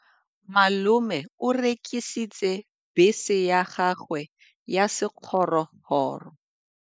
Malome o rekisitse bese ya gagwe ya sekgorokgoro.